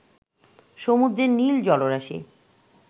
সমুদ্রের নীল জলরাশি